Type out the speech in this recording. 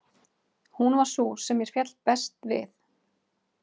Hún var sú sem mér féll best við.